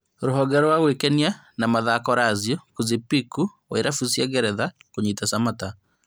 Rũhonge rwa gwĩkenia na mathako Lazio Kuzipiku wa irabu cia ngeretha kũnyita Samatta